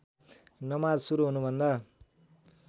नमाज सुरु हुनुभन्दा